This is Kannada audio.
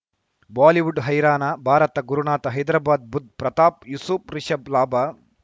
ಬಾಲಿವುಡ್ ಹೈರಾಣ ಭಾರತ ಗುರುನಾಥ ಹೈದರಾಬಾದ್ ಬುಧ್ ಪ್ರತಾಪ್ ಯೂಸುಫ್ ರಿಷಬ್ ಲಾಭ